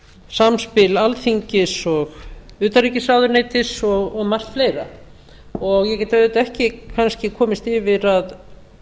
samspil alþingis og utanríkisráðuneytis og margt fleira ég get auðvitað ekki kannski komist yfir að